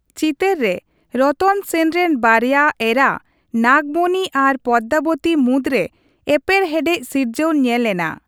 ᱪᱤᱛᱚᱨ ᱨᱮ ᱨᱚᱛᱚᱱ ᱥᱮᱱ ᱨᱮᱱ ᱵᱟᱨᱭᱟ ᱮᱨᱟ, ᱱᱟᱜᱽᱢᱚᱛᱤ ᱟᱨ ᱯᱚᱫᱽᱟᱵᱚᱛᱤ ᱢᱩᱫᱽᱨᱮ ᱮᱯᱮᱨᱦᱮᱰᱮ ᱥᱤᱨᱡᱟᱹᱣ ᱧᱮᱞ ᱮᱱᱟ ᱾